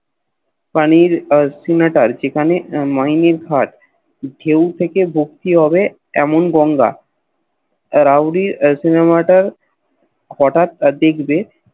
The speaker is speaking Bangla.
পানির Sinotar যেখান Maining ঘাট ধেও থেকে ভক্তি হবে এমন গঙ্গ Roudy Sinametor হটাৎ দেখবে